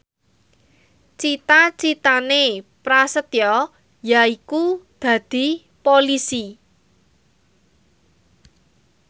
cita citane Prasetyo yaiku dadi Polisi